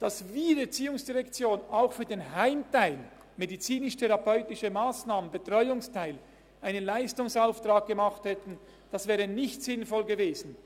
» Dass die ERZ auch für den Heimteil, die medizinisch-therapeutischen Massnahmen, den Betreuungsteil, einen Leistungsauftrag gemacht hätte, wäre nicht sinnvoll gewesen.